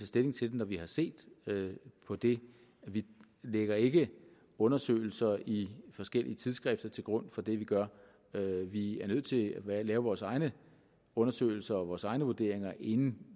stilling til det når vi har set på det vi lægger ikke undersøgelser i forskellige tidsskrifter til grund for det vi gør vi er nødt til at lave vores egne undersøgelser og vores egne vurderinger inden